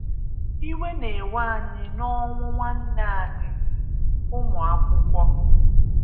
Íwé na-èwè anyị n'ọ́nwù nwánné anyị - Úmùákwúkwọ́